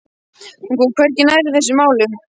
Hún kom hvergi nærri þessum málum.